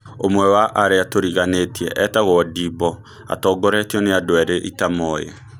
"ũmwe wa arĩa tũriganĩtie, etagwo Ndimbo, atongoretio nĩ andũ erĩ itamoĩ.